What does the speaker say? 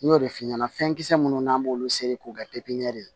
N y'o de f'i ɲɛna fɛn kisɛ minnu n'an b'olu seri k'u ka